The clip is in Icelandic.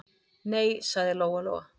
Nei, sagði Lóa-Lóa.